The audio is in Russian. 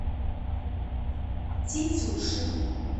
тетюши